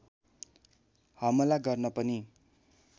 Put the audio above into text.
हमला गर्न पनि